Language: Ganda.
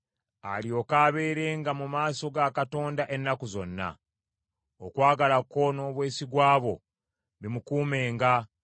alyoke abeerenga mu maaso ga Katonda ennaku zonna. Okwagala kwo n’obwesigwa bwo bimukuumenga.